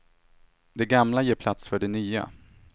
Det gamla ger plats för det nya.